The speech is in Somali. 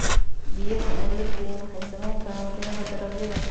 Biyaha aan la keenin waxay saameyn karaan tayada dalagyada.